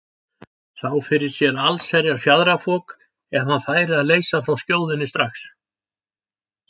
Sá fyrir sér allsherjar fjaðrafok ef hann færi að leysa frá skjóðunni strax.